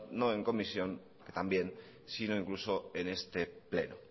no en comisión que también sino incluso en este pleno